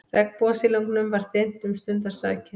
Regnbogasilungnum var þyrmt um stundarsakir.